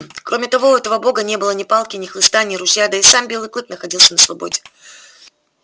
кроме того у этого бога не было ни палки ни хлыста ни ружья да и сам белый клык находился на свободе